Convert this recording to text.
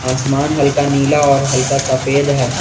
आसमान हल्का नीला और हल्का सफेद है।